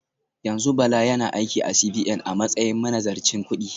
Yanzu Bala yana aiki a CBN a matsayin manazarcin kudi